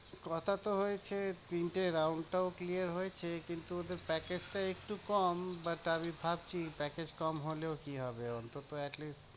কথা তো হয়েছে, তিনটে round টাও clear হয়েছে, কিন্তু ওদের package টা একটু কম but আমি ভাবছি package কম হলেও কি হবে? অন্তত atleast